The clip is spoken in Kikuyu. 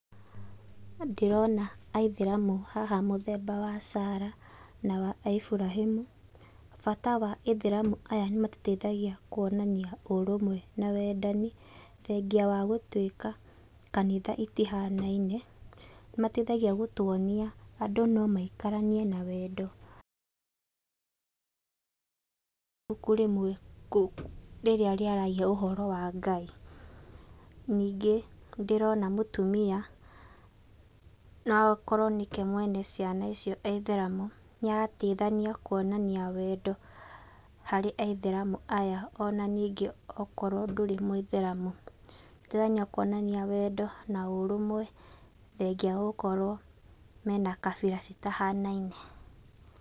Ndĩrona Aithĩramu haha mũthemba wa Sarah na wa Ibrahĩmu. Bata wa Ithĩramu aya nĩmatũteithagia kuonania ũrũmwe na wendani, thengia wa gũtuĩka kanitha itihanaine, nĩmateithagia gũtuonia andũ no maikaranie na wendo,, ibuku rĩmwe rĩrĩa rĩaragia ũhoro wa Ngai. Ningĩ nĩndirona mũtumia, no akorwo nĩke mwene ciana icio e Ithĩramu. Nĩarateithania kuonania wendo harĩ Aithĩramu aya ona ningĩ okorwo ndũrĩ Mũithĩramu. Guteithania kuonania wendo na ũrũmwe thengia wa gũkorwo mena kabira citahanaine.